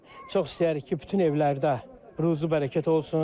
Çox istəyirik ki, bütün evlərdə ruzi bərəkət olsun.